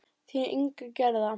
Þín Inga Gerða.